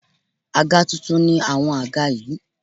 Àga tuntun ni àwọn àga yí.